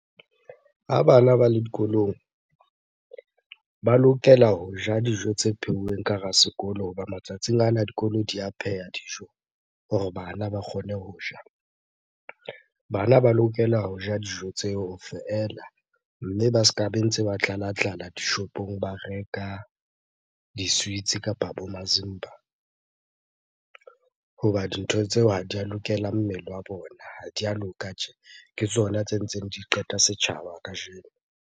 Ha bana ba le dikolong, ba lokela ho ja dijo tse pheuweng ka hara sekolo hoba matsatsing ana dikolo di a pheha dijo hore bana ba kgone ho ja. Bana ba lokela ho ja dijo tseo feela, mme ba ska be ntse ba tlalatlala dishopong ba reka di-sweets kapa bo mazimba hoba dintho tseo ha di a lokela mmele wa bona, ha di a loka tje. Ke tsona tse ntseng di qeta setjhaba kajeno.